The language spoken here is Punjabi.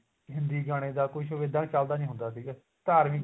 ਹਿੰਦੀ ਗਾਣੇ ਦਾ ਕੁੱਝ ਇੱਡਾਨ ਚੱਲਦਾ ਨੀ ਹੁੰਦਾ ਸੀਗਾ ਧਾਰਮਿਕ